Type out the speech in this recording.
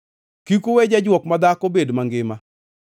“Kik uwe jajwok madhako bed mangima.